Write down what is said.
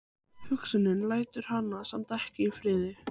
Hugsunin lætur hana samt ekki í friði.